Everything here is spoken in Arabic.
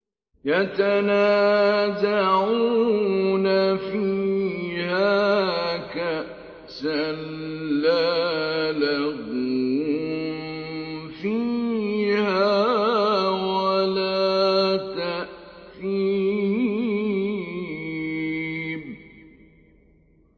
يَتَنَازَعُونَ فِيهَا كَأْسًا لَّا لَغْوٌ فِيهَا وَلَا تَأْثِيمٌ